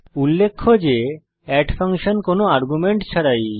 উল্লেখ্য যে add function কোনো আর্গুমেন্ট ছাড়াই